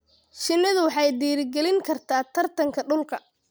Shinnidu waxay dhiirigelin kartaa tartanka dhulka.